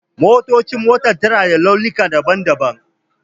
ƙofofin motar na da launikan badan-badan.